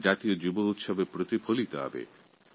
এটা জাতীয় যুব উৎসবে প্রতিফলিত হবে